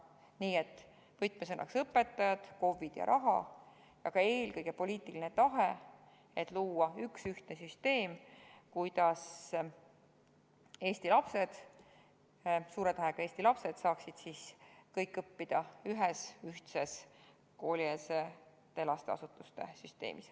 Nii et võtmesõnadeks on õpetajad, KOV-id ja raha, aga eelkõige poliitiline tahe luua üks ühtne süsteem, et Eesti lapsed – suure tähega: Eesti lapsed – saaksid kõik õppida ühtses koolieelsete lasteasutuste süsteemis.